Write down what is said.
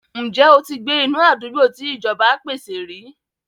Ǹjẹ́ o ti gbé inú àdúgbò tí ìjọba pèsè rí?